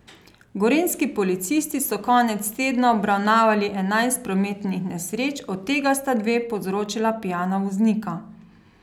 Gorenjski policisti so konec tedna obravnavali enajst prometnih nesreč, od tega sta dve povzročila pijana voznika.